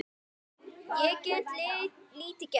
Ég get lítið gert.